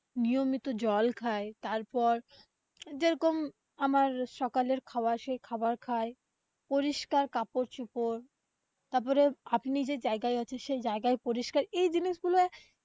নিয়মিত জল খায় তারপর, যে রকম আমার সকালের খাওয়া সেই খাবার খাই, পরিষ্কার কাপড় চোপড় তারপরে, আপনি যে যায়গায় আছেন সেই যায়গায় পরিষ্কার এই জিনিসগুলো আহ